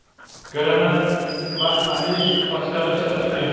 granat va ametist toshlari ishlatilgan.